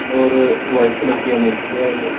और white colour यह की मूर्ति है।